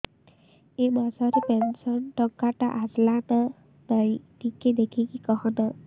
ଏ ମାସ ରେ ପେନସନ ଟଙ୍କା ଟା ଆସଲା ନା ନାଇଁ ଟିକେ ଦେଖିକି କହନା